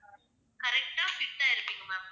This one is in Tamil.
correct ஆ fit ஆ இருப்பீங்க